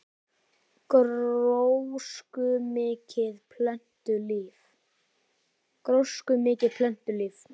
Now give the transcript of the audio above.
Gróskumikið plöntulíf